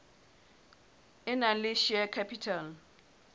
e nang le share capital